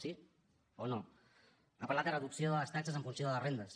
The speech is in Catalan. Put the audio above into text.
sí o no ha parlat de reducció de les taxes en funció de les rendes